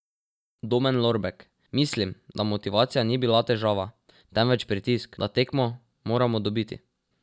Domen Lorbek: 'Mislim, da motivacija ni bila težava, temveč pritisk, da tekmo moramo dobiti.